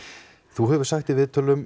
þú hefur sagt í viðtölum